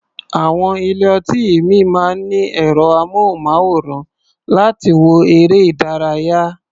Àwọn ilé-ọtí ìmíì máa ń ní ẹ̀rọ-amóhùnmáwòrán láti wo eré-ìdárayá.